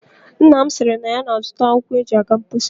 Nna m sịrị na ya ga-azụta akwụkwọ e ji aga mposi.